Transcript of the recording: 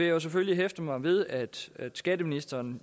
jo selvfølgelig hæfte mig ved at skatteministeren